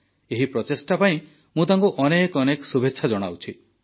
ଏହି ପ୍ରଚେଷ୍ଟା ପାଇଁ ମୁଁ ତାଙ୍କୁ ଅନେକ ଅନେକ ଶୁଭେଚ୍ଛା ଜଣାଉଛି